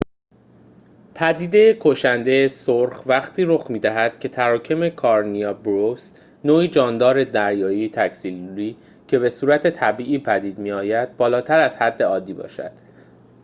پدیده کشند سرخ وقتی رخ می‌دهد که تراکم کارنیا برویس نوعی جاندار دریایی تک‌سلولی که به‌صورت طبیعی پدید می‌آید بالاتر از حد عادی باشد